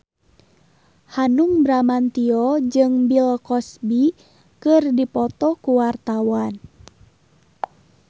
Hanung Bramantyo jeung Bill Cosby keur dipoto ku wartawan